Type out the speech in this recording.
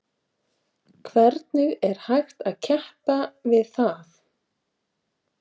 Hvernig er hægt að keppa við það?